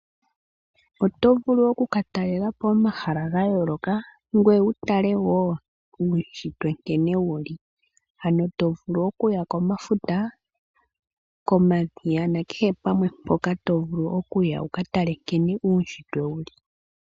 Otovulu oku ka talelapo omahala ga yooloka ngoye wutale woo uushitwe nkene wuli ,ano tovulu okuya komafuta, komadhiya nakehe pamwe mpoka tovulu okuya wuka tale nkene uushitwe wuli.